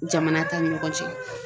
Jamana ta ni ɲɔgɔn cɛ.